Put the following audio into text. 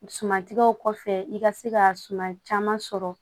Sumantigɛw kɔfɛ i ka se ka suma caman sɔrɔ